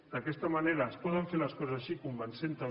d’aquesta manera es poden fer les coses així convencent també